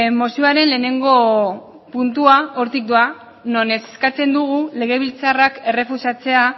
mozioaren lehenengo puntua hortik doa non eskatzen dugun legebiltzarrak errefusatzea